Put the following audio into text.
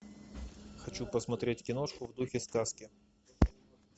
хочу посмотреть киношку в духе сказки